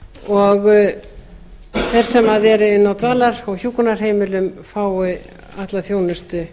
og þeir sem eru inni á dvalar og hjúkrunarheimilum fái alla þjónustu